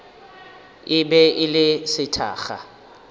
e be e le sethakga